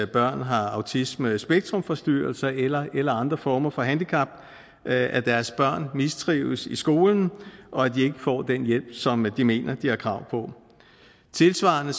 børn har autismespektrumforstyrrelser eller eller andre former for handicap at deres børn mistrives i skolen og at de får den hjælp som de mener at de har krav på tilsvarende